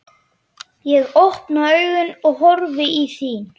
Ég opna augun og horfi í þín.